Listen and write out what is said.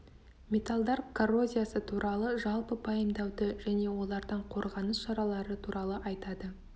металлдар коррозиясы туралы жалпы пайымдауды және де олардан қорғаныс шаралары туралы айтады